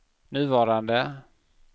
nuvarande